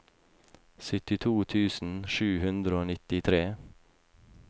syttito tusen sju hundre og nittitre